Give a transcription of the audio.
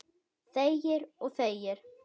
Þegir og þegir.